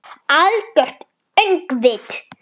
Algert öngvit!